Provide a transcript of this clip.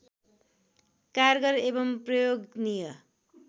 कारगर एवं प्रयोगनीय